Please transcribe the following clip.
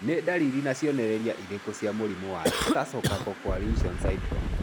Nĩ ndariri na cionereria irĩkũ cia mũrimũ wa Tarsal carpal coalition syndrome?